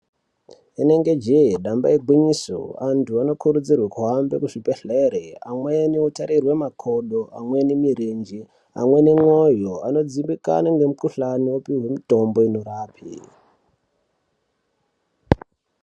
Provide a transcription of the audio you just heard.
Rinenge jee damba igwinyiso antu anokurudzirwa kuhamba kuzvibhedhlera amweni anotarirwa makodo amweni murenje amweni mwoyo ano dzimbikana nemukhuhlani opiwe mutombo unorapa.